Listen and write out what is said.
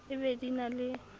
e be di na le